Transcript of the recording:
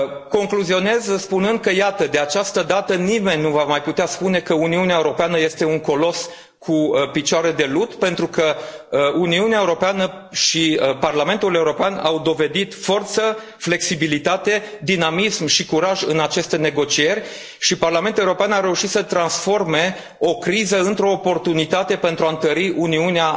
Concluzionez spunând că iată, de această dată nimeni nu va mai putea spune că Uniunea Europeană este un colos cu picioare de lut, pentru că Uniunea Europeană și Parlamentul European au dovedit forță, flexibilitate, dinamism și curaj în aceste negocieri, și Parlamentul European a reușit să transforme o criză într o oportunitate pentru a întări Uniunea